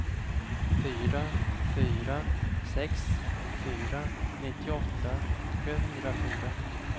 fyra fyra sex fyra nittioåtta sjuhundrafyra